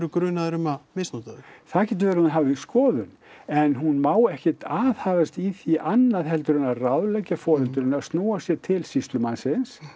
grunaðir um að misnota þau það getur verið að hún hafi skoðun en hún má ekkert aðhafast í því annað en að ráðleggja foreldrinu að snúa sér til sýslumannsins